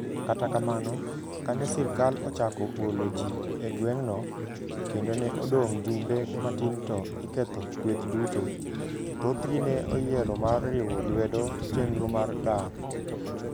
Kata kamano, kane sirkal ochako golo ji e gweng'no, kendo ne odong' jumbe matin to iketho kweth duto, thothgi ne oyiero mar riwo lwedo chenro mar dar.